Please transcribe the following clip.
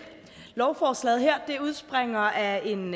lovforslaget her udspringer af en